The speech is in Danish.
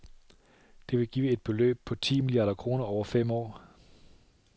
Det ville give et beløb på et ti milliarder kroner over fem år.